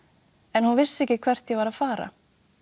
en hún vissi ekki hvert ég var að fara